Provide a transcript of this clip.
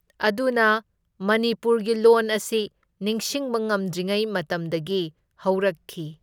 ꯑꯗꯨꯅ ꯃꯅꯤꯄꯨꯔꯒꯤ ꯂꯣꯟ ꯑꯁꯤ ꯅꯤꯡꯁꯤꯡꯕ ꯉꯝꯗ꯭ꯔꯤꯉꯩ ꯃꯇꯝꯗꯒꯤ ꯍꯧꯔꯛꯈꯤ꯫